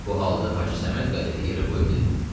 Bu halda Hacı Səməd qəzeti yerə qoyub dedi: